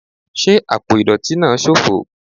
Ṣe apo idọti naa ṣofo